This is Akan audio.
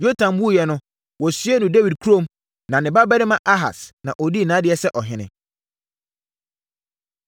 Yotam wuiɛ no, wɔsiee no Dawid kurom na ne babarima Ahas, na ɔdii nʼadeɛ sɛ ɔhene.